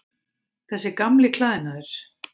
Þessi gamli klæðnaður.